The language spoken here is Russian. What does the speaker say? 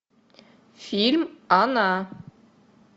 фильм она